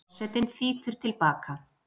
Forsetinn þýtur til baka.